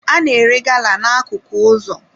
A na-ere gala n'akụkụ ụzọ